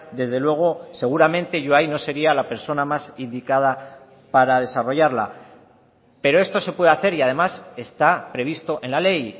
desde luego seguramente yo ahí no sería la persona más indicada para desarrollarla pero esto se puede hacer y además está previsto en la ley